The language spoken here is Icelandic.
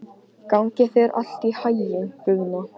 Gangi þér allt í haginn, Guðna.